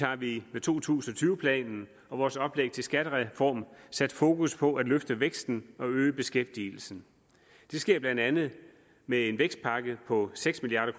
har vi med to tusind og tyve planen og vores oplæg til skattereform sat fokus på at løfte væksten og øge beskæftigelsen det sker blandt andet med en vækstpakke på seks milliard